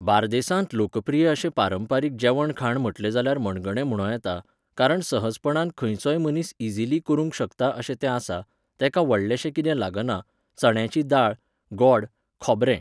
बार्देसांत लोकप्रिय अशें पारंपारीक जेवणखाण म्हटलें जाल्यार मणगणें म्हुणों येता, कारण सहजपणान खंयचोय मनीस इझिली करूंक शकता अशें तें आसा, तेका व्हडलेंशें कितें लागना, चण्याची दाळ, गोड, खोबरें.